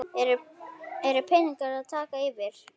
eru peningar að taka yfir?